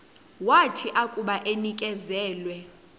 wathi akuba enikezelwe